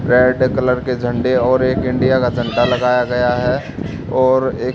red colour के झंडे और एक इंडिया का झंडा लगाया गया है और एक--